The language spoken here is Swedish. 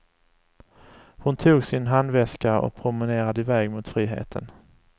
Hon tog sin handväska och promenerade iväg mot friheten.